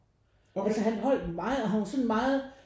Altså han holdt meget og han var sådan meget